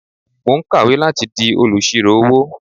Mò ń kàwé láti di olùṣírò-owó.